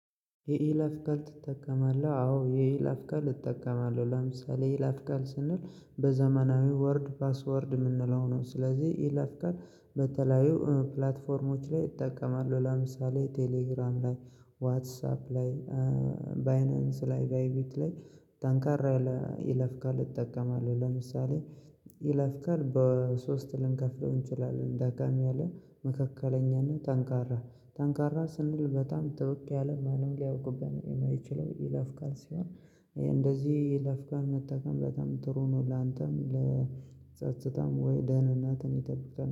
የይለፍ ቃል ትጠቀማለህ? አዎ የይለፍ ቃል እጠቀማለሁ። ለምሳሌ ይለፍ ቃል ስንል በዘመናዊ ወርድ ፓስወርድ የምንለው ነው። ስለዚህ ይለፍ ቃል በተለያዩ ፕላትፎርሞች ላይ እጠቀማለሁ። ለምሳሌ ቴሌግራም ላይ፣ ዋትሳፕ ላይ፣ ባይነንስ ላይ፣ ባይቤት ላይ፣ ጠንካር ያለ የይለፍ ቃል እጠቀማለሁ። ለምሳሌ ይለፍ ቃል በሶስት ልንከፍለው እንችላለን። ደከም ያለ፣ መካከለኛና ጠንካራ። ጠንካራ ስንል በጣም ጠበቅ ያለ ማንም ሊያውቅብን የማይችለው ይለፍ ቃል ሲሆን፤ እንደዚህ ይለፍ ቃል መጠቀም በጣም ጥሩ ነው። ላንተም ለጸጽታም ወይ ደህንነትን ይጠብቃል።